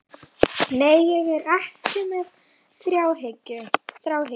Nei, ég er ekki með þráhyggju.